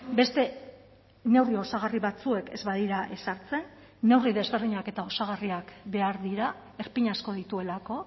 beste neurri osagarri batzuek ez badira ezartzen neurri desberdinak eta osagarriak behar dira erpin asko dituelako